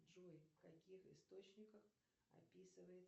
джой в каких источниках описывает